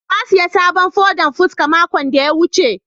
na siya sabon fodan fuska makon da ya wuce.